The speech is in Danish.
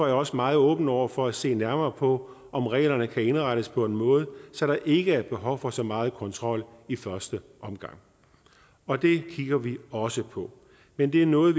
jeg også meget åben over for at se nærmere på om reglerne kan indrettes på en måde så der ikke er behov for så meget kontrol i første omgang og det kigger vi også på men det er noget